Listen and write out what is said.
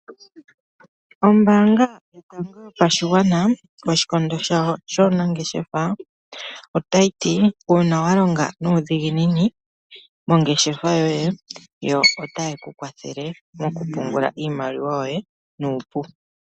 Ombaanga Yotango Yopashigwana koshikondo shawo shuunanngeshefa otayi ti uuna wa longa nuudhiginini mongeshefa yoye, otaye ku kwathele okupungula iimaliwa yoye mongeshefa yoye nuupu.